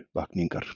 uppvakningar?